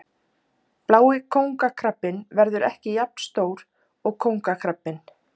blái kóngakrabbinn verður ekki jafn stór og kóngakrabbinn